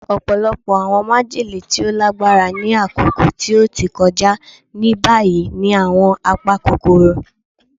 Ọpọlọpọ awọn majele ti o lagbara ni akoko ti o ti kọja ni bayi ni awọn apakokoro